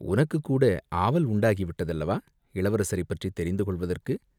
உனக்குக்கூட ஆவல் உண்டாகிவிட்டதல்லவா, இளவரசரைப் பற்றித் தெரிந்து கொள்வதற்கு?